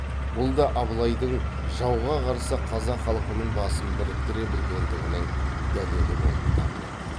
бұл да абылайдың жауға қарсы қазақ халқының басын біріктіре білгендігінің дәлелі болып табылады